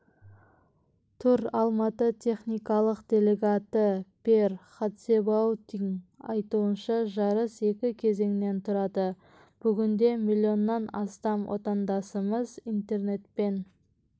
тур алматы техникалық делегаты пьер хатсебауттың айтуынша жарыс екі кезеңнен тұрады бүгінде миллионнан астам отандасымыз интернетпен